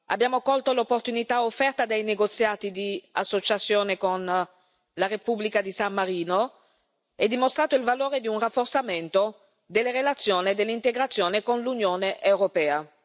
Abbiamo colto l'opportunità offerta dai negoziati di associazione con la Repubblica di San Marino e dimostrato il valore di un rafforzamento delle relazioni e dell'integrazione con l'Unione europea.